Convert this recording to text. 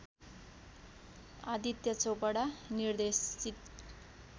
आदित्य चोपडा निर्देशित